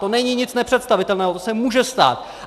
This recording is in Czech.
To není nic nepředstavitelného, to se může stát.